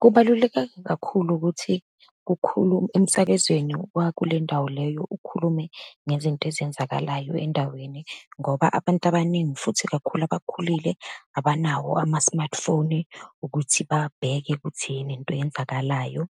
Kubalulekeka kakhulu ukuthi emsakazweni wakulendawo leyo ukhulume ngezinto ezenzakalayo endaweni, ngoba abantu abaningi, futhi kakhulu abakhulile, abanawo ama-smartphone ukuthi babheke ukuthi yini into eyenzakalayo